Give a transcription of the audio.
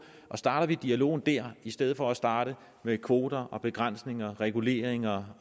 og starter vi dialogen der i stedet for at starte med kvoter og begrænsninger reguleringer